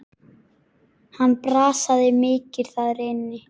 Hann brasaði mikið þar inni.